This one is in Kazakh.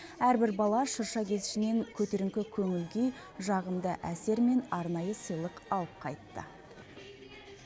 әрбір бала шырша кешінен көтеріңкі көңіл күй жағымды әсер мен арнайы сыйлық алып қайтты